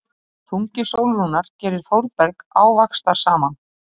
Þungi Sólrúnar gerir Þórberg ávaxtarsaman.